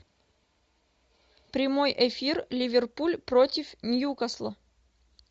прямой эфир ливерпуль против ньюкасла